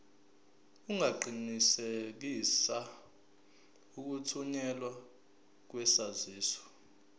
ungaqinisekisa ukuthunyelwa kwesaziso